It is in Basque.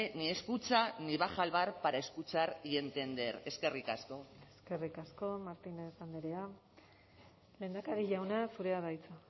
ni escucha ni baja al bar para escuchar y entender eskerrik asko eskerrik asko martínez andrea lehendakari jauna zurea da hitza